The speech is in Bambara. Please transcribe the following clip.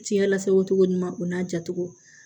Fiɲɛ lasago cogo ɲuman o n'a jatogo